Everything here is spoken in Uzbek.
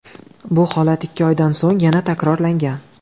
Bu holat ikki oydan so‘ng yana takrorlangan.